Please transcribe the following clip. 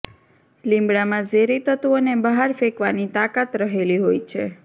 લીમડામાં ઝેરી તત્વોને બહાર ફેંકવાની તાકાત રહેલી હોય છે